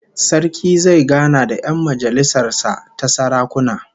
Sarki zai gana da 'yan majalisar sa ta sarakuna